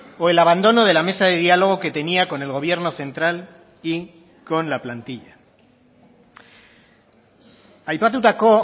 o el abandono de la mesa de dialogo que tenía con el gobierno central y con la plantilla aipatutako